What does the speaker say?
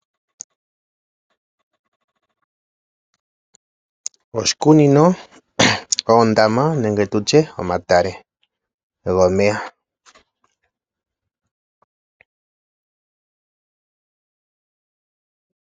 Oshikunino, oondama nenge tutye omatale gomeya.